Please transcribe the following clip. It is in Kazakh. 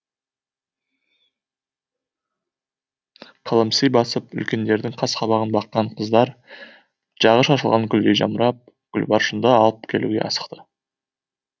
қылымси басып үлкендердің қас қабағын баққан қыздар жағы шашылған гүлдей жамырап гүлбаршынды алып келуге асықты